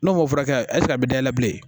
N'o ma furakɛ a bɛ dayɛlɛ bilen